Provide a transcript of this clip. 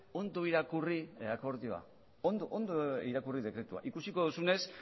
ondo irakurri akordioa ondo irakurri dekretua ikusiko duzunez